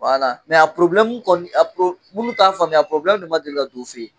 mɛ a kɔni a minnu t'an faamuya a le ma deli ka don o fɛ yen